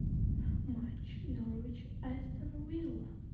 матч норвич астон вилла